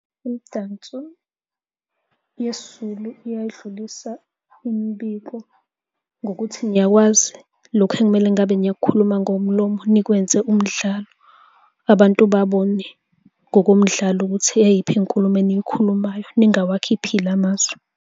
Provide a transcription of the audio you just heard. Imidanso yesiZulu iyayidlulisa imibiko ngokuthi niyakwazi lokhu ekumele ngabe niyakhuluma ngomlomo, nikwenze umdlalo. Abantu babone ngokomdlalo ukuthi eyiphi inkulumo eniyikhulumayo ningawawakhiphile amazwi.